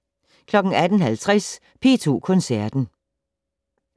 18:50: P2 Koncerten